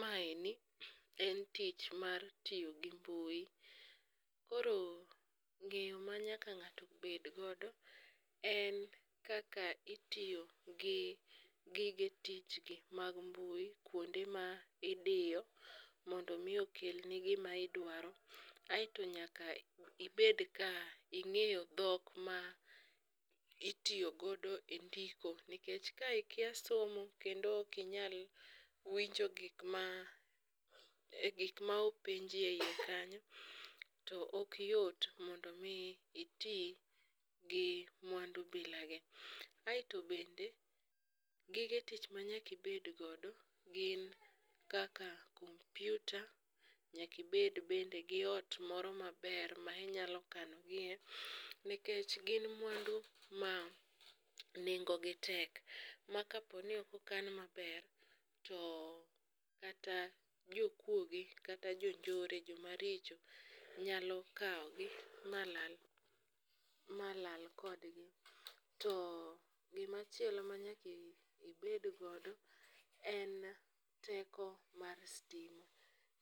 Maendi en tich mar tiyo gi mbui, koro ng'eyo ma nyaka ng'ato bed godo en kaka itiyo gi gige tichgi mag mbui kwonde ma idiyo, mondo omi okelni gima idwaro aeto nyaka ibed ka ing'eyo dhok ma itiyo godo e ndiko nikech ka ikia somo kendo ok inyal winjo gik ma openji e iye kanyo, to ok yot mondo omi iti gi mwandu bilagi, aeto bende gige tich ma nyaka ibed godo gin kaka kompyuta, nyaka ibed bende gi ot moro maber ma inyalo kanogie, nikech gin mwandu ma nengogi tek ma kaponi ok okan maber, to kata jokuoye kata jonjore, jomaricho nyalo kawogi ma lal kodgi. To gimachielo ma nyaka ibed godo en teko mar stima,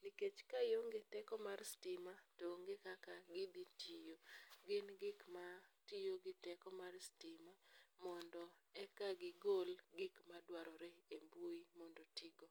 nikech ka ionge teko mar stima to onge kaka gidhi tiyo. Gin gik matiyo gi teko mar stima mondo eka gigol gik madwarore e mbui mondo oti go.